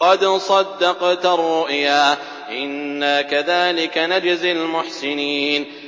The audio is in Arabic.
قَدْ صَدَّقْتَ الرُّؤْيَا ۚ إِنَّا كَذَٰلِكَ نَجْزِي الْمُحْسِنِينَ